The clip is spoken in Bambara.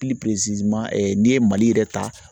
n'i ye Mali yɛrɛ ta